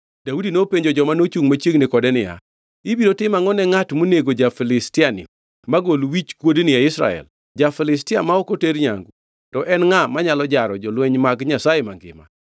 Daudi nopenjo joma nochungʼ machiegni kode niya, “Ibiro tim angʼo ne ngʼat monego ja-Filistiani magol wichkuodni e Israel? Ja-Filistia ma ok oter nyangu to en ngʼa manyalo jaro jolweny mag Nyasaye mangima?”